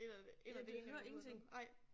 Ind af det ind af det ene øre ud af det nej